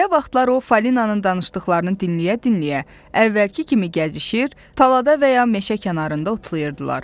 Belə vaxtlar o falinanın danışdıqlarını dinləyə-dinləyə, əvvəlki kimi gəzişir, talada və ya meşə kənarında otlayırdılar.